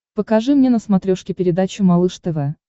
покажи мне на смотрешке передачу малыш тв